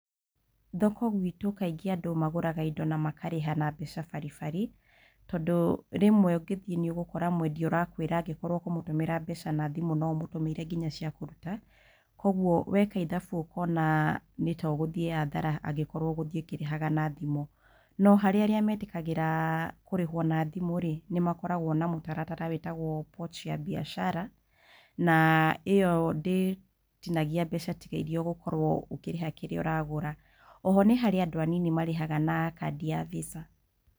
Thoko gwĩtũ kaingĩ andũ magũraga na makarĩha na mbeca bari bari tondũ rĩmwe ũngĩthiĩ nĩũgũkora mwendia ũrakwĩra angĩkorwo ũramũtũmĩra mbeca na thimũ no ũmũtũmĩire nginya cia kũruta, kwoguo weka ithabu ũkona nĩ ta ũgũthiĩ hathara angĩkorwo ũgũthiĩ ũkĩrĩhaga na thimũ. No harĩ arĩa metĩkagĩra kũrĩhwo na thimũ-rĩ, nĩmakoragwo na mũtaratara wĩtagwo pochi ya biashara na ĩo ndĩtinagia mbeca tiga iria ũgũkorwo ũkĩrĩha kĩrĩa ũragũra. Oho nĩ harĩ andũ anini marĩhaga na kandĩ ya visa.